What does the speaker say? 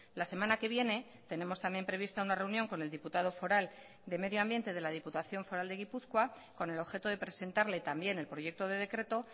la semana que viene tenemos también prevista una reunión con el diputado foral de medio ambiente de la diputación foral de gipuzkoa con el objeto de presentarle también el proyecto de decreto